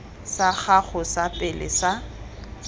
sa gago sa pele sa